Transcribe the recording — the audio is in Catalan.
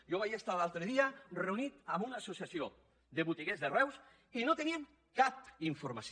jo vaig estar l’altre dia reunit amb una associació de botiguers de reus i no tenien capmació